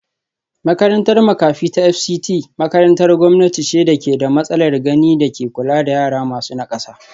Makarantar makafi ta Fct makarantar gwamnati ce da ke da matsalar gani da ke kula da yara masu nakasa